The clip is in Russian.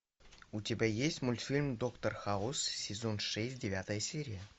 у тебя есть мультфильм доктор хаус сезон шесть девятая серия